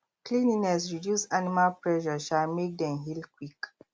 cleanliness reduce animal pressure um make dem heal quick